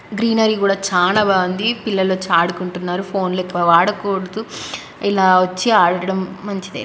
Greenery కూడా చాన బాగుంది పిల్లలు వచ్చి అడుకుంటునారు ఫోన్లు ఎక్కువ వాడకూడదు ఇలా వచ్చి ఆడడం మంచిదే.